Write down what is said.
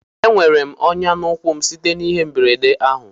Enwere m onya na ụkwụ m site na ihe mberede ahụ